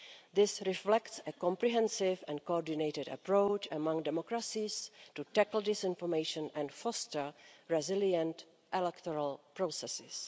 This reflects a comprehensive and coordinated approach among democracies to tackle disinformation and foster resilient electoral processes.